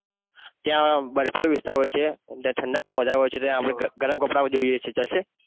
તે આ બરફીલો વિસ્તાર હોય છે ત્યાં ઠંડક પણ વધારે હોય છે આપણે ત્યાં ગરમ કપડા ઓ જોઈએ છે ચાલશે?